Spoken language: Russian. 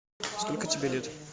сколько тебе лет